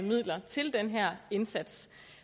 midler til den her indsats